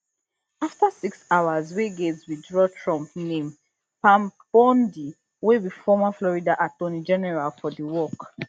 afta six hours wey gaetz withdraw trump name pam bondi wey be former florida attorney general for di work